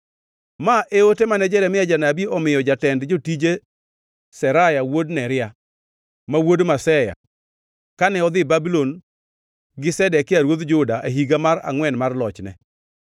Ma e ote mane Jeremia janabi omiyo jatend jotije Seraya wuod Neria, ma wuod Maseya, kane odhi Babulon gi Zedekia ruodh Juda e higa mar angʼwen mar lochne.